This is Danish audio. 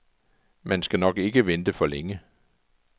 Man skal nok ikke vente for længe.